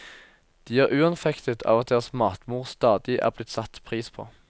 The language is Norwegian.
De er uanfektet av at deres matmor stadig er blitt satt pris på.